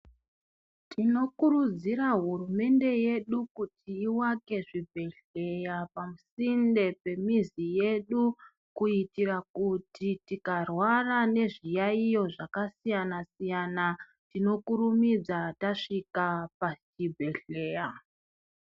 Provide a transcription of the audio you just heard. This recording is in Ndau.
Tinokuridzira hurumende yedu kuti ivake zvibhedhlera pasinde pemizi yedu kuitira kuti tikarwara nezviyaiyo zvakasiyana, tinokurumidza tasvika pachibhedhlera.